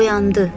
Oyandı.